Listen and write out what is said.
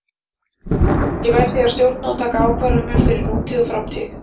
Ég verð því að stjórna og taka ákvarðanir fyrir nútíð og framtíð.